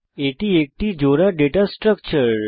এটি একটি জোড়া ডেটা স্ট্রাকচার